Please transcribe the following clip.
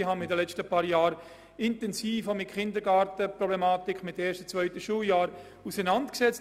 Ich habe mich intensiv mit dem Kindergarten und dem ersten und zweiten Schuljahr auseinandergesetzt.